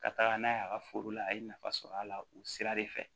Ka taga n'a ye a ka foro la a ye nafa sɔrɔ a la u sira de fɛ